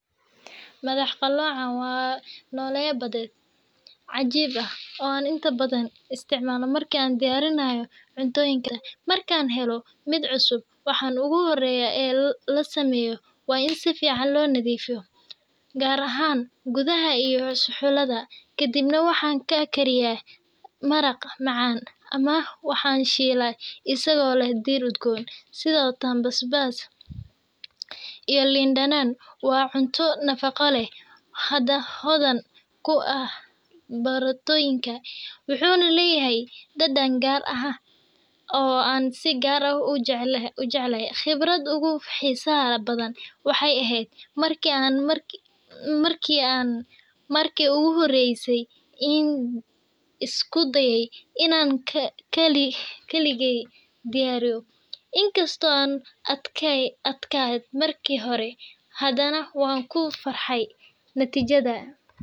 Madax qalloocan ama octopus waa noole badeed cajiib ah oo aan inta badan isticmaalo marka aan diyaarinayo cuntooyinka badda. Markaan helno mid cusub, waxa ugu horreeya ee la sameeyo waa in si fiican loo nadiifiyo, gaar ahaan gudaha iyo suxullada. Kadibna, waxaan ka kariyaa maraq macaan ama waxaan shiilaa isagoo leh dhir udgoon sida toon, basbaas, iyo liin dhanaan. Waa cunto nafaqo leh, hodan ku ah borotiinka, wuxuuna leeyahay dhadhan gaar ah oo aan si gaar ah u jeclahay. Khibradeyda ugu xiisaha badan waxay ahayd markii aan markii ugu horreysay isku dayay inaan kaligay diyaariyo – inkasta oo uu adkaa markii hore, haddana waan ku farxay natiijada.